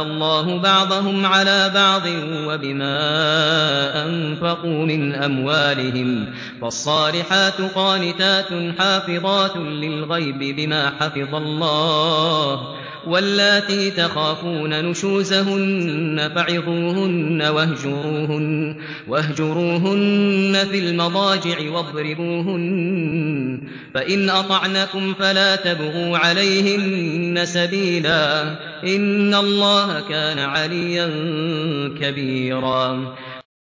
اللَّهُ بَعْضَهُمْ عَلَىٰ بَعْضٍ وَبِمَا أَنفَقُوا مِنْ أَمْوَالِهِمْ ۚ فَالصَّالِحَاتُ قَانِتَاتٌ حَافِظَاتٌ لِّلْغَيْبِ بِمَا حَفِظَ اللَّهُ ۚ وَاللَّاتِي تَخَافُونَ نُشُوزَهُنَّ فَعِظُوهُنَّ وَاهْجُرُوهُنَّ فِي الْمَضَاجِعِ وَاضْرِبُوهُنَّ ۖ فَإِنْ أَطَعْنَكُمْ فَلَا تَبْغُوا عَلَيْهِنَّ سَبِيلًا ۗ إِنَّ اللَّهَ كَانَ عَلِيًّا كَبِيرًا